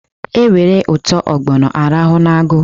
E were ụtọ ọgbọnọ a rahụ n'agụ.